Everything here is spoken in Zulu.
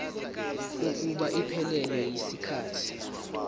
kokuba iphelele yisikhathi